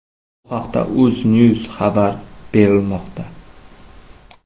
Bu haqda UzNews xabar berilmoqda .